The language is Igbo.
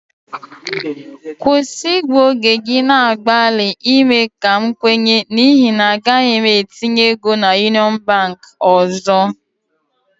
Stop waisting your time trying to convince me for I will never bank with Union Bank again